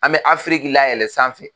An bɛ Afiriki layɛlɛn sanfɛ